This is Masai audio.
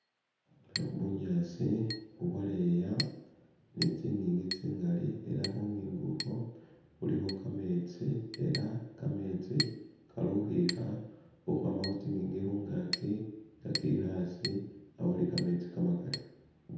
Bunyaasi bubwaleya ni' tsingingi tsingaali ela khungingi ukhwo khulikho kametsi ela kametsi kali khukhwikha khukhwama khutsingingi khungaki nga kekha asi awo uli kametsi kamakali